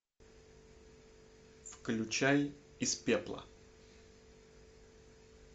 включай из пепла